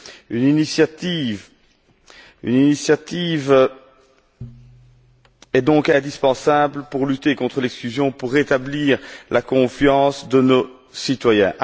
Une initiative est donc indispensable pour lutter contre l'exclusion, pour rétablir la confiance de nos citoyens.